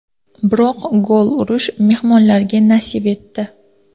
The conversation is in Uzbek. Biroq gol urish mehmonlarga nasib etdi.